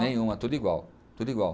Nenhuma, tudo igual, tudo igual.